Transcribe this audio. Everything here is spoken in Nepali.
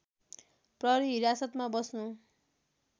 प्रहरी हिरासतमा बस्नु